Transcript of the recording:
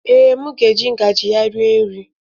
Ee, m ga-eji ngaji ya rie nri